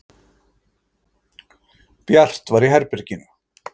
Bjart var í herberginu.